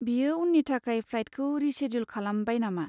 बियो उन्नि थाखाय फ्लाइटखौ रिशेद्युल खालामबाय नामा?